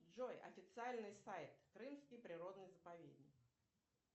джой официальный сайт крымский природный заповедник